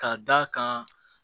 K'a d'a kan